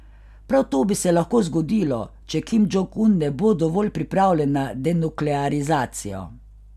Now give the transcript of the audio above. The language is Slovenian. Prav to bi se lahko zgodilo, če Kim Džong Un ne bo dovolj pripravljen na denuklearizacijo.